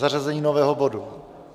Zařazení nového bodu.